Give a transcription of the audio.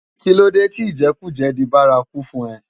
Kilódé ti ijèkújè di bàrákú fún è?